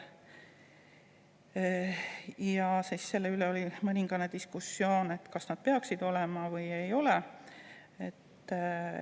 Oli diskussioon selle üle, kas peaksid olema või ei peaks.